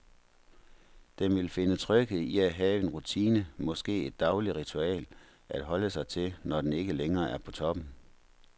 Den vil finde tryghed i at have en rutine, måske et dagligt ritual, at holde sig til, når den ikke længere er på toppen.